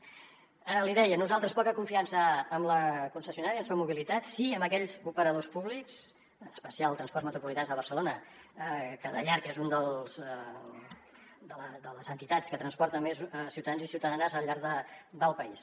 l’hi deia nosaltres poca confiança amb la concessionària amb soc mobilitat sí amb aquells operadors públics en especial transports metropolitans de barcelona que de llarg és una de les entitats que transporta més ciutadans i ciutadanes al llarg del país